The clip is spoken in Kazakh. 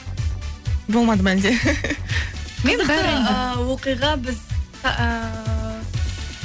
болмады ма әлде ііі оқиға біз ііі